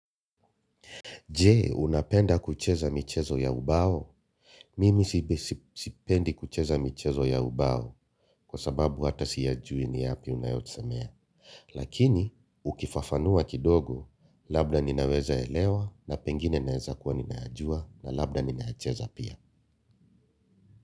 Je, unapenda kucheza michezo ya ubao? Mimi sipendi kucheza michezo ya ubao kwa sababu hata siyajui ni yapi unayosemea. Lakini, ukifafanua kidogo, labda ninaweza elewa na pengine naeza kuwa ninayajua na labda ninayacheza pia.